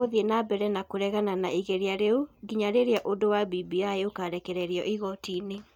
Tũgũthiĩ na mbere kũregana na igeria rĩu, nginya rĩrĩa ũndũ wa BBI ũkarekĩrĩrio igoti-inĩ.